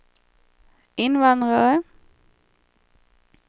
invandrare